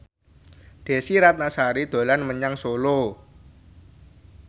Desy Ratnasari dolan menyang Solo